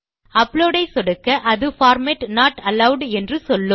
upload ஐ சொடுக்க அது பார்மேட் நோட் அலோவெட் என்று சொல்லும்